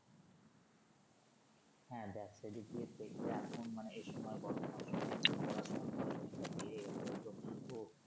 হ্যা দেখ সেদিক দিয়ে দেখলে এখন মানে এসময় বর্তমান সময়ে কিন্তু পড়াশুনা খরচ অনেক টা বেড়ে গেছে হয়তো ও